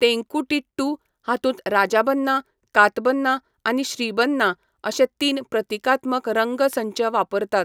तेन्कुटिट्टू हातूंत राजाबन्ना, कातबन्ना आनी श्रीबन्ना अशे तीन प्रतिकात्मक रंग संच वापरतात.